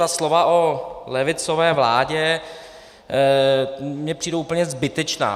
Ta slova o levicové vládě mně přijdou úplně zbytečná.